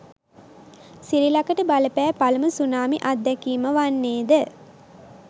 සිරිලකට බලපෑ පළමු සුනාමි අත්දැකීම වන්නේද?